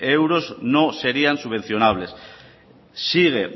euros no serían subvencionables sigue